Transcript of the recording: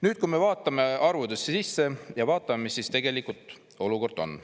Nüüd, kui me vaatame arvudesse sisse ja vaatame, mis siis tegelikult olukord on.